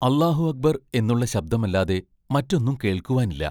അല്ലാഹു അക്ബർ എന്നുള്ള ശബ്ദമല്ലാതെ മറ്റൊന്നും കേൾക്കുവാൻ ഇല്ല.